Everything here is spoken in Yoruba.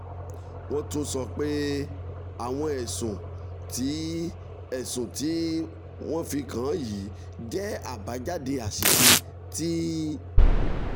wọ́n tún sọ pé àwọn ẹ̀sùn tí ẹ̀sùn tí wọ́n fi kàn án yìí jẹ́ àbájáde àṣìṣe tí